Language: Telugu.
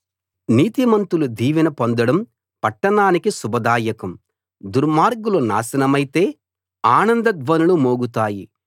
నీతిమంతులు దీవెన పొందడం పట్టణానికి శుభదాయకం దుర్మార్గులు నాశనమైతే ఆనంద ధ్వనులు మోగుతాయి